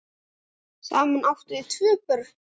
Saman áttu þau tvö börn.